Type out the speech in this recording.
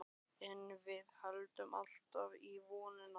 En við héldum alltaf í vonina.